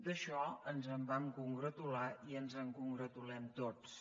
d’això ens en vam congratular i ens en congratulem tots